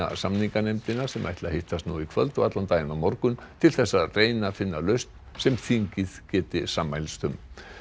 samninganefndina sem ætli að hittast nú í kvöld og allan daginn á morgun til þess að reyna að finna lausn sem þingið geti sammælst um